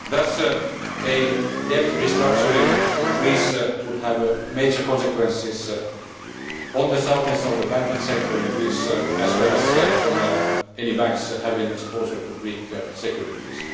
Thus, a debt restructuring in Greece would have major consequences on the soundness of the banking sector in Greece, as well as on any banks having exposure to Greek securities.